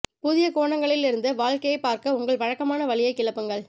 புதிய கோணங்களில் இருந்து வாழ்க்கையைப் பார்க்க உங்கள் வழக்கமான வழியைக் கிளப்புங்கள்